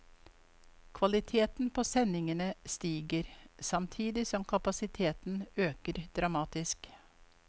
Kvaliteten på sendingene stiger, samtidig som kapasiteten øker dramatisk.